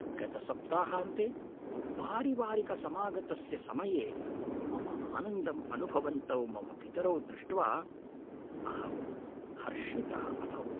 गतसप्ताहान्ते पारिवारिकसमागमस्य समये मम आनन्दम् अनुभवन्तौ मम पितरौ दृष्ट्वा अहं हर्षितः अभवम्।